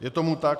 Je tomu tak.